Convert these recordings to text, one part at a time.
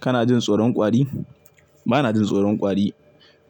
Kana jin tsoron kwari? Ba na jin tsoron kwari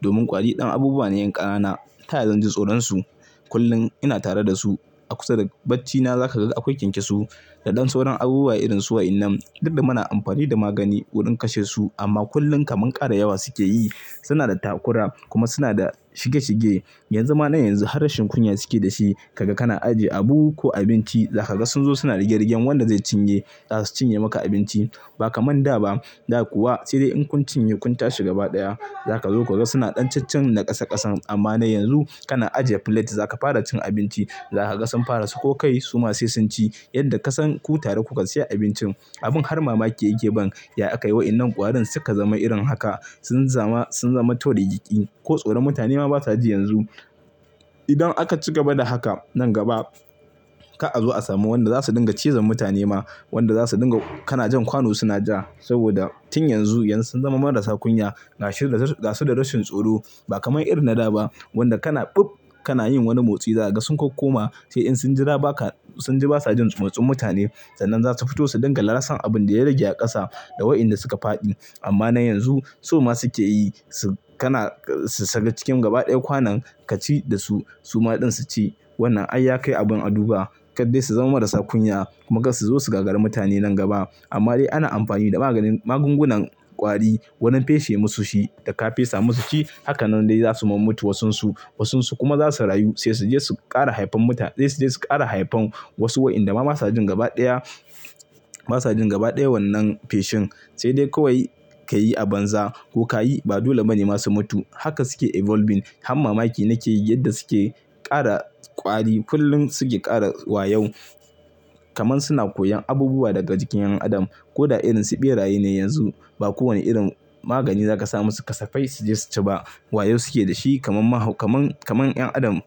domin kwari ɗan abubuwa ne yan ƙanana. Ta yaya zan ji tsoron su? Kullum ina tare da su. A kusa da bacci na za ka ga akwai kyankyasu da ɗan sauran abubuwa irin su wa'innan. Duk da muna amfani da magani wurin kashe su amma kullum kaman ƙara yawa suke yi. Suna da takura kuma suna da shige shige. Yan zuma na yanzu harrashen kunya suke da shi. Kaga kana ajiye abu ko abinci, za ka ga sun zo suna rigarrigan wanda zai cinye. Za su cinye maka abinci ba kamar da ba. Da kuwa sai dai in kun cinye kun tashi gaba ɗaya za ka zo ka ga suna ɗan caccen na ƙasa ƙasan. Amma na yanzu kana ajiye filet za ka fara cin abinci, za ka ga sun fara sako kai su ma sai sun ci. Yadda ka san ku tare kuka siya abincin. Abin har mamaki yake ban ya akai wa'innan ƙwarin suka zama irin haka. Sun zama, sun zama to da gigiki ko tsoron mutane ma basa ji yanzu. Idan aka ci gaba da haka nan gaba, ka'azo a samu wanda za su dinga ciza mutane ma, wanda za su dinga-- kana jan kwano suna ja saboda tun yanzu yan suna marasa kunya gashi da, gashi da rashin tsoro ba kamar irin na da ba wanda kana kana yin wani motsi, za ka ga sun kokkoma sai in sun jira baka, sun ji basa jin matsin mutane sannan za su fito su dinga lassan abin da ya rage a ƙasa da wa'innan suka faɗi. Amma na yanzu, so ma suke yi, su, kana, su saka cikin gaba ɗaya kwanon ka ci da su, su ma ɗin su ci. Wannan ai yakai abin a duba kar dai su zama marasa kunya kuma ga su zo su gagari mutane nan gaba. Amma dai ana amfani da maganin magungunan kwari wurin feshe musu shi, da ka fesa musu ci hakanan dai za su ma mutu wasunsu. Wasunsu kuma za su rayu sai su je su ƙara haifan mutane, sai su je su ƙara haifan wasu wa'innan da ma basa jin gaba ɗaya, basa jin gaba ɗaya wannan feshin. Sai dai kawai ka yi a banza ko ka yi ba dole mana masu mutu. Haka suke evolving har mamaki nake yi yadda suke ƙara kwari. Kullum suke ƙara wayo kamar suna koyon abubuwa daga jikin ƴan adam. Ko da irin su ɓeraye ne yanzu ba kowane irin magani za ka sa musu kasafai su ji su ci ba. Wayo suke da shi kamar mahau, kamar, kamar ƴan adam.